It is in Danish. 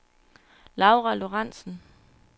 Laura Lorentsen